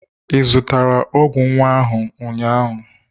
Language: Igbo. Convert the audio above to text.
Ị zụtara ọgwụ nwa ụnyahụ?